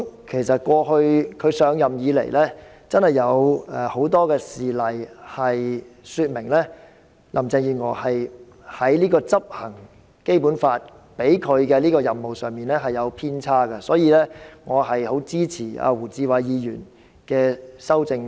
其實自現任特首上任以來，真的有很多事例說明林鄭月娥在執行《基本法》賦予她的任務上有所偏差，所以，我很支持胡志偉議員的修正案。